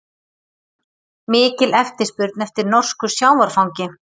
Mikil eftirspurn eftir norsku sjávarfangi